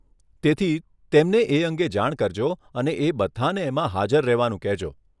તેથી, તેમણે એ અંગે જાણ કરજો અને એ બધાંને એમાં હાજર રહેવાનું કહેજો.